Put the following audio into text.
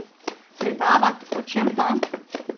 Predavat, o čem pa?